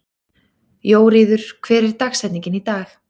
Jóríður, hver er dagsetningin í dag?